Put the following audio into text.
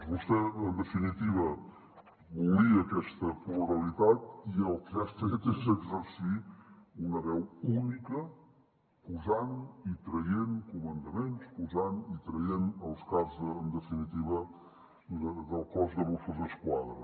vostè en definitiva volia aquesta pluralitat i el que ha fet és exercir una veu única posant i traient comandaments posant i traient els caps en definitiva del cos de mossos d’esquadra